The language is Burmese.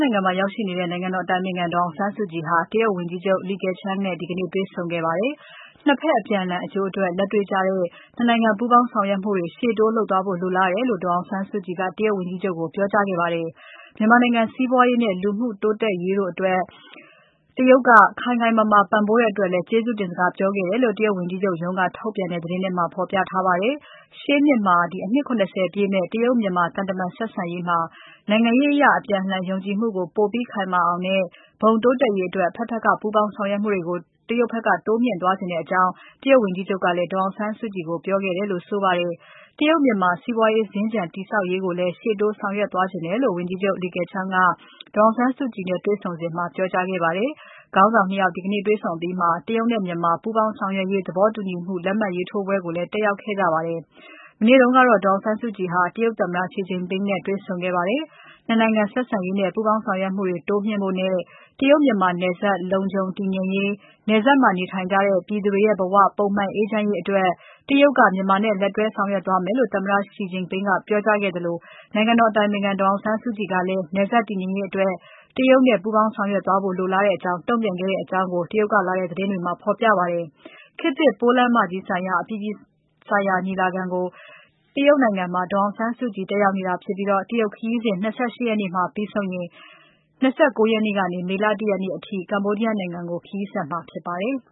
နိုင်ငံမှာရောက်ရှိနေတဲ့ နိုင်ငံတော်အတိုင်ပင်ခံ ဒေါ်အောင်ဆန်းစုကြည်ဟာ ဒီကနေ့ တရုတ်ဝန်ကြီးချုပ် Li Keqiang နဲ့တေ့ွဆုံခဲ့ပါတယ်။ ၂ ဖက် အပြန်အလှန်အကျိုးအတွက် လက်တေ့ွကျတဲ့ ၂ နိုင်ငံပူးပေါင်းဆောင်ရွက်မှုတွေ ရှေ့တိုးလုပ်သွားဖို့လိုလားတယ်လို့ အောင်ဆန်းစုကြည်က တရုတ်ဝန်ကြီးချုပ်ကို ပြောကြားခဲ့ပါတယ်။ မြန်မာနိုင်ငံစီးပွားရေးနဲ့ လူမှုရေးဖွံ့ဖြိုးတိုးတက်ရေးအတွက် တရုတ်နိုင်ငံက ခိုင်ခိုင်မာမာပံ့ပိုးတဲ့အတွက်လည်း ကျေးဇူးတင်စကားပြောခဲ့တယ်လို့ တရုတ်ဝန်ကြီးချုပ်ရုံးက ထုတ်ပြန်တဲ့သတင်းထဲမှာ ဖော်ပြထားပါတယ်။ ရှေ့နှစ်မှာ အနှစ် ၇၀ ပြည့်မယ့် တရုတ်မြန်မာ သံတမန်ဆက်ဆံရေးမှာ နိုင်ငံရေးအရ အပြန်အလှန်ယုံကြည်မှုကို ပိုပြီးခိုင်မာအောင်နဲ့ ဘုံတိုးတက်ရေးအတွက် အဖက်ဖက်က ပူးပေါင်းဆောင်ရွက်မှုတွေကို တရုတ်ဖက်က တိုးမြှင့်သွားချင်တဲ့အကြောင်း တရုတ်ဝန်ကြီးချုပ်ကလည်း ဒေါ်အောင်ဆန်းစုကြည်ကို ပြောခဲ့တယ်လို့ဆိုပါတယ်။ တရုတ်မြန်မာ စီးပွားရေးးစင်္ကြန်တည်ဆောက်ရေးကိုလည်း ရှေ့တိုးဆောင်ရွက်သွားလိုတယ်လို့ ဝန်ကြီးချုပ် Li Keqiang ကဒေါ်အောင်ဆန်းစုကြည်နဲ့တွေ့ဆုံစဉ်မှာ ပြောကြားခဲ့ပါတယ်။ ခေါင်းဆောင် ၂ ယောက်တေ့ွဆုံအပြီးမှာ တရုတ်နဲ့မြန်မာကြား ပူးပေါင်းဆောင်ရွက်ရေးသဘောတူညီချက်တွေ လက်မှတ်ရေးထိုးပွဲကိုလည်း တက်ရောက်ခဲ့ကြပါတယ်။ မနေ့တုန်းကတော့ ဒေါ်အောင်ဆန်းစုကြည်ဟာ တရုတ်သမ္မတ Xi Jinping နဲ့တွေ့ဆုံခဲ့ပါတယ်။ ၂ နိုင်ငံဆက်ဆံရေးနဲ့ ပူးပေါင်းဆောင်ရွက်မှုတွေ တိုးမြှင့်နိုင်ဖို့နဲ့ တရုတ်မြန်မာနယ်စပ် လုံခြုံ တည်ငြိမ်ရေး၊ နယ်စပ်မှာနေထိုင်ကြတဲ့ ပြည်သူတွေရဲ့ဘဝ ပုံမှန်အေးချမ်းရေးအတွက် တရုတ်က မြန်မာနဲ့လက်တွဲဆောင်ရွက်သွားမယ်လို့ သမ္မတ Xi က ပြောကြားခဲ့သလို နိုင်ငံတော်အတိုင်ပင်ခံ ဒေါ်အောင်ဆန်းစုကြည်ကလည်း နယ်စပ်တည်ငြိမ်ရေးအတွက် တရုတ်နဲ့ ပူးပေါင်းဆောင်ရွက်ဖို့ လိုလားတယ်လို့ တုံ့ပြန်ခဲ့တဲ့အကြောင်း တရုတ်ကလာတဲ့သတင်းတွေမှာ ဖော်ပြပါတယ်။ ခေတ်သစ်ပိုးလမ်းမကြီးဆိုင်ရာ အပြည်ပြည်ညီလာခံကို တရုတ်နိုင်ငံမှာ ဒေါ်အောင်ဆန်းစုကြည် တက်ရောက်နေတာဖြစ်ပြီး၊ တရုတ်ခရီးစဉ် ၂၈ ရက်နေ့မှာ ပြီဆုံးရင် ၂၉ ရက်ကနေ မေလ ၁ ရက်နေ့အထိ Cambodia နိုင်ငံကို ခရီးဆက်မှာဖြစ်ပါတယ်။